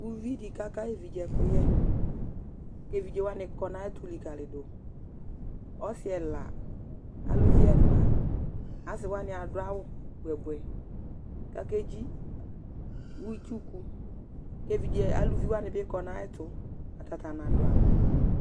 Uvi di ka ka ayu evidze ɛkuyɛ, ku evidze wani kɔ nu ayɛtu li ka li du, ɔsi ɛla aluluvi ɛna, asi wani adu awu buɛ buɛ ku ake dzi utsu ku, ku evidze aluvi wani bi kɔ nu ayɛtu ata ta na du awu